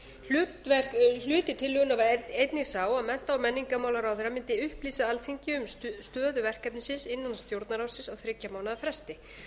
gilda um netið hluti tillögunnar var einnig sá að mennta og menningarmálaráðherra mundi upplýsa alþingi um stöðu verkefnisins innan stjórnarráðsins á þriggja mánaða fresti